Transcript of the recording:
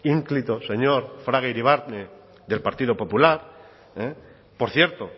fraga iribarne del partido popular por cierto